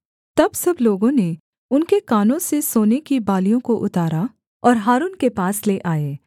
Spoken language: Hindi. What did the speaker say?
तब सब लोगों ने उनके कानों से सोने की बालियों को उतारा और हारून के पास ले आए